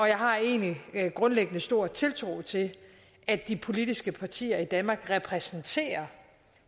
jeg har egentlig grundlæggende stor tiltro til at de politiske partier i danmark repræsenterer